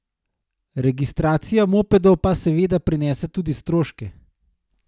Registracija mopedov pa seveda prinese tudi stroške.